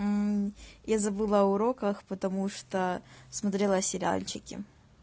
я забыла о уроках потому что смотрела сериальчики